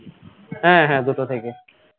হ্যাঁ হ্যাঁ দুটো থেকে